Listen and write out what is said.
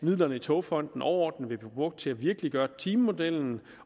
midlerne i togfonden dk overordnet vil blive brugt til at virkeliggøre timemodellen